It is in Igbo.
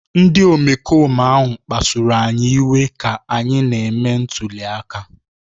Ndị omekome ahụ kpasuru anyị iwe ka anyị na-eme ntuli aka